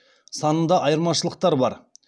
санында айырмашылықтар бар